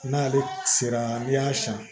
N'ale sera n'i y'a san